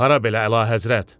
Hara belə Əlahəzrət?